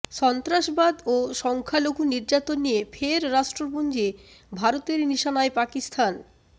সন্ত্রাসবাদ ও সংখ্যালঘু নির্যাতন নিয়ে ফের রাষ্ট্রপুঞ্জে ভারতের নিশানায় পাকিস্তান